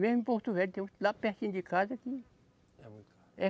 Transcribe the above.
Mesmo em Porto Velho, tem uns lá pertinho de casa que. É muito caro. É